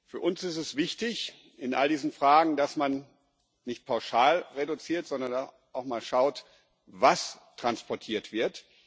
Für uns ist es in all diesen Fragen wichtig, dass man nicht pauschal reduziert, sondern auch mal schaut, was transportiert wird.